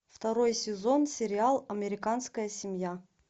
второй сезон сериал американская семья